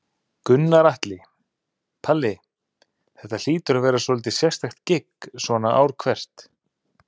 Gunnar Atli: Palli, þetta hlýtur að vera svolítið sérstakt gigg svona ár hvert?